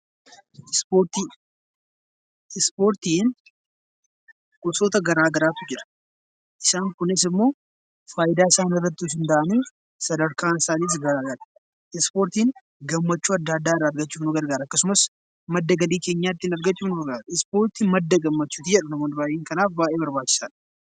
Ispoortiin gosoota garaagaraatu jira. Isaanis immoo fayidaan isaanii sadarkaan isaaniis garaagara. Ispoortiin gammachuu adda addaa argachuuf nu gargaara. Madda galii keenyaa ittiin argachuuf nu gargaara madda gammachuuti jedhu namoonni baay'een baay'ee barbaachisaadha.